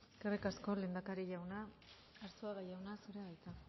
eskerrik asko lehendakari jauna arzuaga jauna zurea da hitza